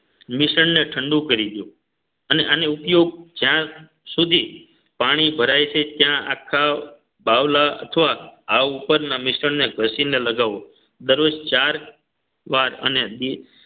મિશ્રણ ને ઠંડુ કરી દોયો અને આને ઉપયોગ જ્યાં સુધી પાણી ભરાય છે ત્યાં આખા બાવલા અથવા આ ઉપરના મિશ્રણને ઘસીને લગાવો દરરોજ ચાર વાર અને દી